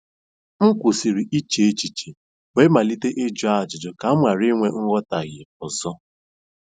M kwụsịrị iche echiche wee malite ịjụ ajụjụ ka m ghara inwe nghọtahie ọzọ.